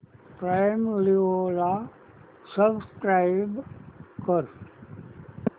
prime Video ला subscribe कर